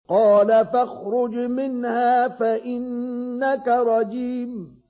قَالَ فَاخْرُجْ مِنْهَا فَإِنَّكَ رَجِيمٌ